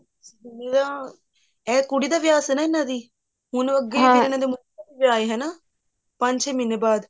ਇਹ ਕੁੜੀ ਦਾ ਵਿਆਹ ਸੀ ਇਹਨਾ ਦੀ ਹੁਣ ਅੱਗੇ ਇਹਨਾ ਦੇ ਮੁੰਡੇ ਦਾ ਵਿਆਹ ਹੈ ਹਨਾ ਪੰਜ ਛੇ ਮਹੀਨੇ ਬਾਅਦ